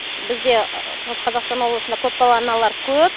бізде шығыс қазақстан облысында көпбалалы аналар көп